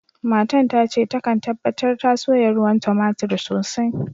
Matan tace ta kan tabatar ta soya ruwan tomatir sosai.